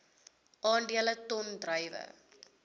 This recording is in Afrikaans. aandele ton druiwe